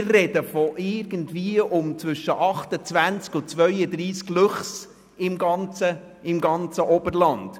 Wir sprechen von irgendwie um zwischen 28 und 32 Luchsen im ganzen Oberland.